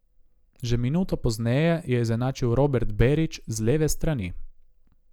Že minuto pozneje je izenačil Robert Berić z leve strani.